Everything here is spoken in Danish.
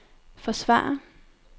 forsvare